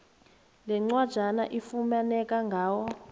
lencwajana ifumaneka ngawo